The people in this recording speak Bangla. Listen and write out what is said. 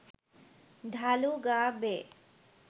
ঢালু গা বেয়ে